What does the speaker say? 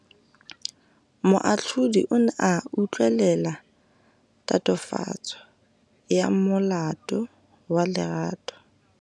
Moatlhodi o ne a utlwelela tatofatsô ya molato wa Lerato.